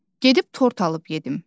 Gedib tort alıb yedim.